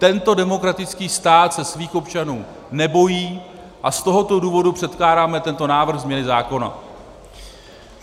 Tento demokratický stát se svých občanů nebojí a z tohoto důvodu předkládáme tento návrh změny zákona.